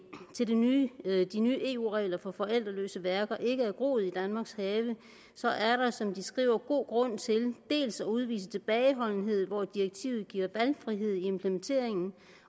til de nye eu regler for forældreløse værker ikke er groet i danmarks have så er der som de skriver god grund til dels at udvise tilbageholdenhed hvor direktivet giver valgfrihed i implementeringen